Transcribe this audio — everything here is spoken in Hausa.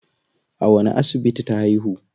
A wani asibiti ta haihu?